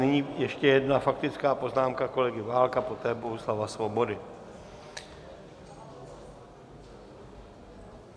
Nyní ještě jedna faktická poznámka kolegy Válka, poté Bohuslava Svobody.